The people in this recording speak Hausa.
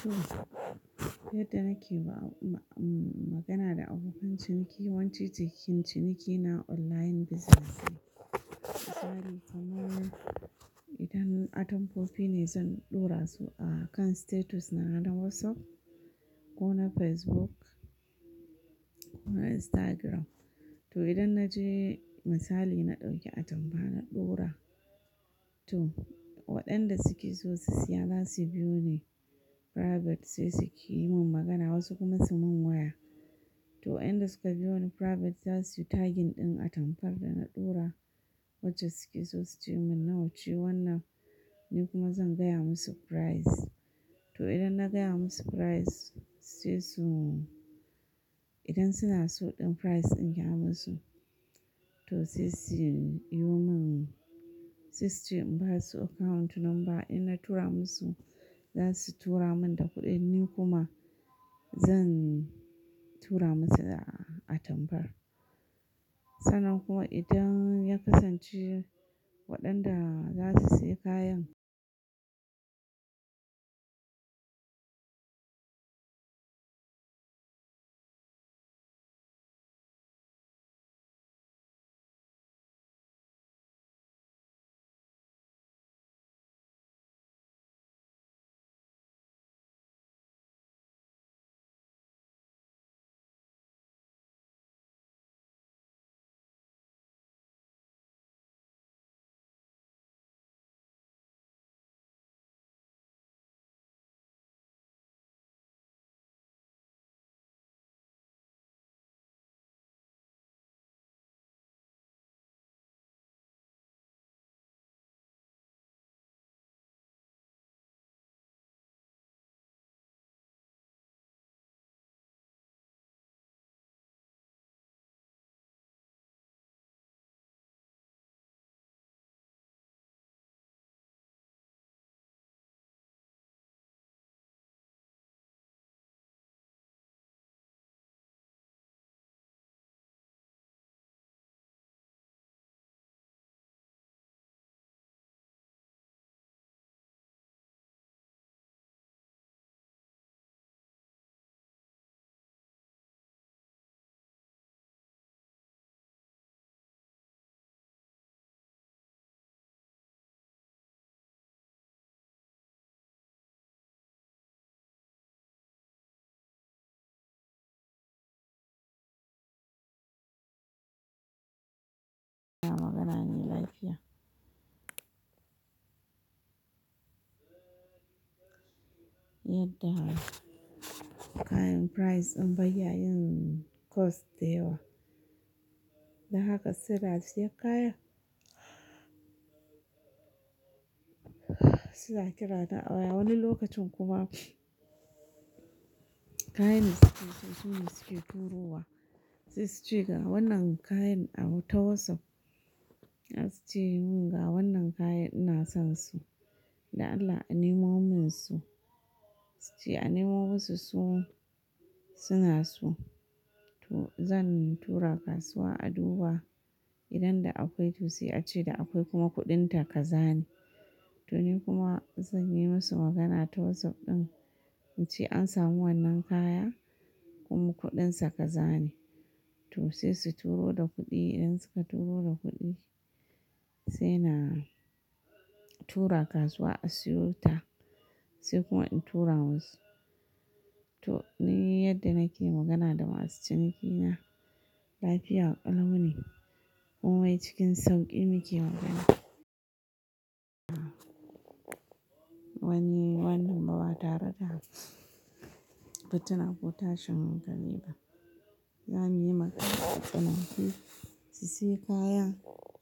To, yadda nake magana da abokan ciniki, yawanci ciniki na online business ne. Itari kamar idan atamfofi ne zan ɗora su a kan status na WhatsApp ko na Facebook ko na Instagram. To idan na je misali na ɗauki atamfa na ɗora, to waɗanda suke so su siya za su biyo ni private sai su ke yi min magana wasu kuma su min waya. To waƴanda suka biyo ni private za su yi tagging ɗin atamfar da na ɗora wacce suke so su ce min "na wace wannar", ni kuma zan gaya musu price. To idan na gaya musu price sai su, idan suna so ɗin price in ya musu to sai su yi min, sai su ce in basu account number idan na tura musu za su tura min da kuɗin ni kuma zan tura musu da atamfar. Sannan kuma idan ya kasance waɗanda za su sayi kayan magana ne lafiya. Yadda kayan price in bayya yin cost dayawa. Da haka sellers ya kaya. Su na ƙira na a waya wani lokacin kuma kayan da suke so sune suke turo wa. Sai su ce ga wannan kayan a ta WhatsApp. Sai su ce mun "ga wannan kayan ina sonsu." Da Allah in nemo musu. Su ce "a nemo musu su suna so". To zan tura kasuwa a duba, idan da akwai to sai a ce da akwai kuma kuɗin ta ka zane. To ni kuma zan yi musu magana ta WhatsApp ɗin in ce an samu wannan kaya kuma kuɗin sa ka za ne. To sai su turo da kuɗi idan suka turo da kuɗi sai na tura kasuwa a siyo ta. Sai kuma in tura musu. To ni yadda nake magana da masu ciniki na lafiya ƙalau ne. Kumai cikin sauƙi mu ke magana. Ba muy wannan ba ba tare da fitina ko tashin hankali ba za mu yi magana a tsinake su siyi kaya